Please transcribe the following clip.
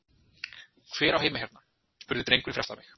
Hver á heima hérna? spurði drengurinn fyrir aftan mig?